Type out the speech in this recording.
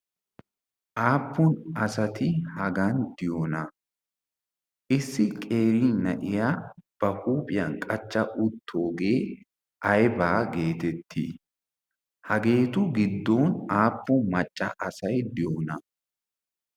aappun asati hagan diyoona issi qeri na'iya ba huuphiyan qachcha uttoogee aibaa geetettii hageetu giddon aappun macca asay diyoona